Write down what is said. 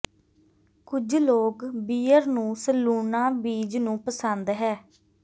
ਕੁਝ ਲੋਕ ਬੀਅਰ ਨੂੰ ਸਲੂਣਾ ਬੀਜ ਨੂੰ ਪਸੰਦ ਹੈ